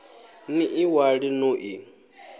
ni ḽi ṅwale no ḽi